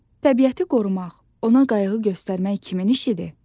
Təbiəti qorumaq, ona qayğı göstərmək kimin işidir?